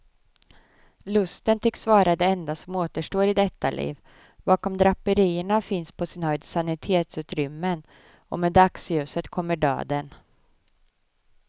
Lusten tycks vara det enda som återstår i detta liv, bakom draperierna finns på sin höjd sanitetsutrymmen och med dagsljuset kommer döden.